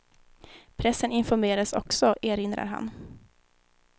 Pressen informerades också, erinrar han.